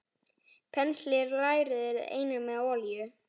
Penslið lærið einnig með olíu.